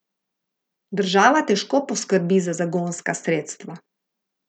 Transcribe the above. Država težko poskrbi za zagonska sredstva.